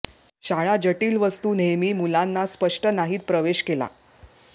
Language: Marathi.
शाळा जटिल वस्तू नेहमी मुलांना स्पष्ट नाहीत प्रवेश केला